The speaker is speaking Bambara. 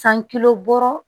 San kilo wɔɔrɔ